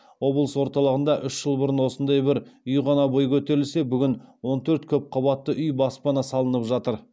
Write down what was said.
облыс орталығында үш жыл бұрын осындай бір үй ғана бой көтерсе бүгінде он төрт көпқабатты үй баспана салынып жатыр